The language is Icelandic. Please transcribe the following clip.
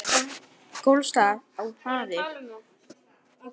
Gola stóð af hafi.